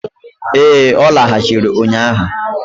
Ee, ọ lagachịrị ụnyaahụ.